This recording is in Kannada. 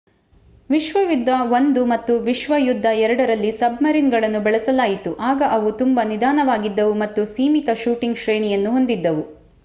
ವಿಶ್ವಯುದ್ಧ i ಮತ್ತು ವಿಶ್ವಯುದ್ಧ ii ರಲ್ಲಿ ಸಬ್‌ಮರೀನ್‌ಗಳನ್ನು ಬಳಸಲಾಯಿತು. ಆಗ ಅವು ತುಂಬಾ ನಿಧಾನವಾಗಿದ್ದವು ಮತ್ತು ಸೀಮಿತ ಶೂಟಿಂಗ್‌ ಶ್ರೇಣಿಯನ್ನು ಹೊಂದಿದ್ದವು